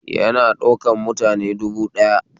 Yana ɗaukar mutane dubu ɗaya